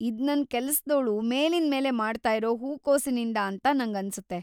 ಇದ್ ನನ್‌ ಕೆಲಸ್ದೋಳು ಮೇಲಿಂದ್ಮೇಲೆ ಮಾಡ್ತಾಯಿರೋ ಹೂಕೋಸಿನಿಂದ ಅಂತ ನಂಗನ್ಸುತ್ತೆ